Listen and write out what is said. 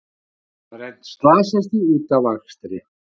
Þrennt slasaðist í útafakstri